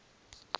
as amended by